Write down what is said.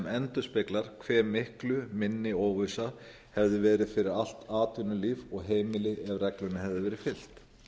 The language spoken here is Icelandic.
endurspeglar hve miklu minni óvissan hefði verið fyrir allt atvinnulíf og heimili ef reglunni hefði verið fylgt